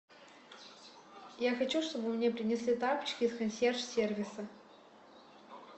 я хочу чтобы мне принесли тапочки с консьерж сервиса